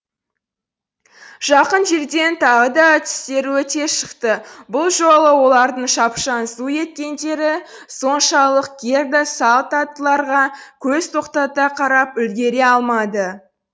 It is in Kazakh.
жақын жерден тағы да түстер өте шықты бұл жолы олардың шапшаң зу еткендері соншалық герда салт аттыларға көз тоқтата қарап үлгере алмады